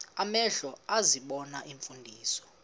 amehlo ezibona iimfundiso